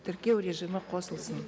тіркеу режимі қосылсын